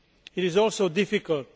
It is also difficult.